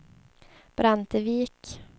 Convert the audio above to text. Brantevik